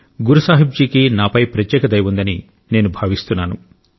గురు సాహిబ్ జీ కి నాపై ప్రత్యేక దయ ఉందని నేను భావిస్తున్నాను